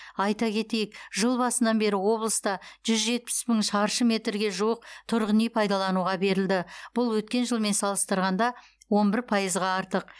айта кетейік жыл басынан бері облыста жүз жетпіс мың шаршы метрге жуық тұрғын үй пайдалануға берілді бұл өткен жылмен салыстырғанда он бір пайызға артық